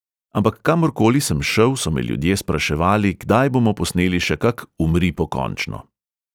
Ampak kamorkoli sem šel, so me ljudje spraševali, kdaj bomo posneli še kak umri pokončno.